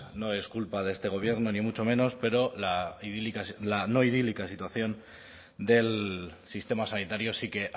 no es culpa de este gobierno ni mucho menos pero la no idílica situación del sistema sanitario sí que